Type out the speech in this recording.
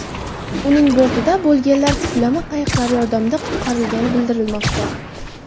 Uning bortida bo‘lganlar puflama qayiqlar yordamida qutqarilgani bildirilmoqda.